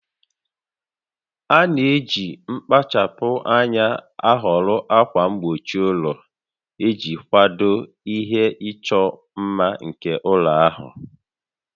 A na-eji mkpachapụ anya ahọrọ ákwà mgbochi ụlọ iji kwado ihe ịchọ mma nke ụlọ ahụ